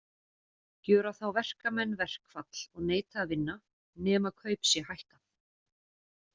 Gjöra þá verkamenn verkfall og neita að vinna, nema kaup sé hækkað.